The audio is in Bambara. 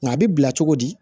Nka a bɛ bila cogo di